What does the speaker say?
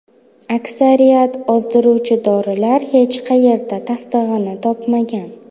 Aksariyat ozdiruvchi dorilar hech qayerda tasdig‘ini topmagan.